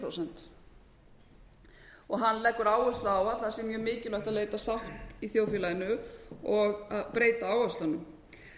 fimm prósent hann leggur áherslu á að það sé mjög mikilvægt að leita sáttar í þjóðfélaginu og að breyta áherslunum